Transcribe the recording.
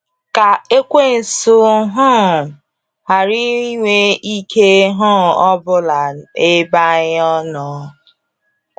Ka ekwensụ um hara ịnwe ike um ọbụla ebe anyi nnọö